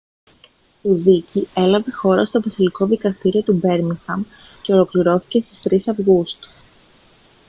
η δίκη έλαβε χώρα στο βασιλικό δικαστήριο του μπέρμιγχαμ και ολοκληρώθηκε στις 3 αυγούστου